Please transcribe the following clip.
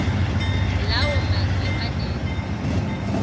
lawo mazwe anezimboni